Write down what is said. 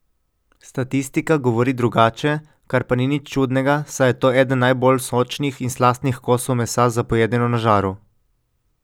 Statistika govori drugače, kar pa ni nič čudnega, saj je to eden najbolj sočnih in slastnih kosov mesa za pojedino na žaru.